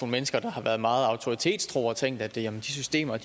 mennesker der har været meget autoritetstro og har tænkt at de systemer